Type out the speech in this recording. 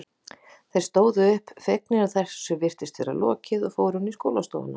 Þeir stóðu upp, fegnir að þessu virtist lokið og fóru inn í skólastofuna.